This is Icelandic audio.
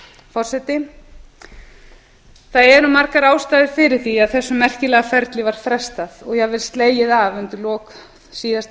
forseti það eru margar ástæður fyrir því að þessu merkilega ferli var frestað og jafnvel slegið af undir lok síðasta